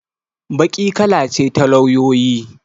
Baƙi kala ce ta lauyoyi.